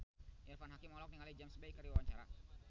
Irfan Hakim olohok ningali James Bay keur diwawancara